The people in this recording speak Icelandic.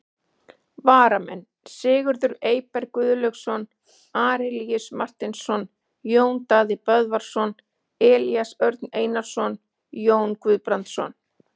Varamenn: Sigurður Eyberg Guðlaugsson, Arilíus Marteinsson, Jón Daði Böðvarsson, Elías Örn Einarsson, Jón Guðbrandsson.